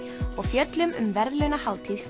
og fjöllum um verðlaunahátíð